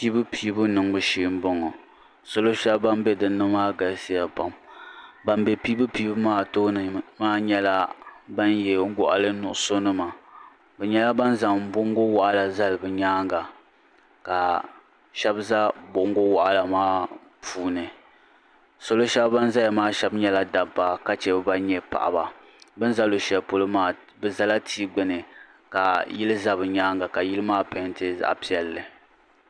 Piibu piibu niŋbu shee m boŋɔ salo sheli din be dinni maa galisiya pam ban be piibu piibu maa tooni maa nyɛla ban ye goɣali nuɣuso nima bɛ nyɛla ban zaŋ bongo waɣala zali bɛ nyaanga ka sheba za bongo waɣala maa puuni salo sheba ban zaya maa sheba nyɛla dabba ka sheba gba nyɛ paɣaba bini za luɣusheli polo maa bɛ zala tia gbini ka yila za bɛ nyaanga ka yili maa painti zaɣa piɛlli.